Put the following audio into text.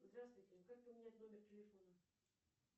здравствуйте как поменять номер телефона